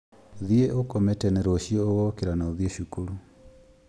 Thiĩ ũgakome tene rũciũ ũgokĩra na ũthiĩ cukuru